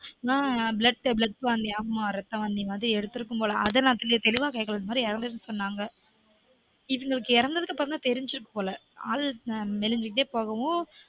ஆஹ் blood வாந்தி ரத்த வாந்தி மாதிரி எடுத்துருக்கும் போல அத நா தெளிவா கேக்கல இந்த மாதிரி எறந்திருச்சுனு சொன்னாங்க இவங்களுக்கு எறந்ததுக்கப்பறம்தா தெரிஞ்சிருக்கும்போல ஆள் மெலிஞ்சுக்கிட்டே போகவும்